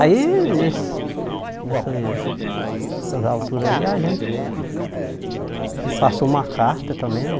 Aí, nesse nessa nessas alturas aí, a gente... Ele passou uma carta também, né?